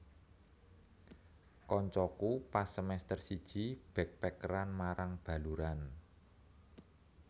Koncoku pas semester siji backpackeran marang Baluran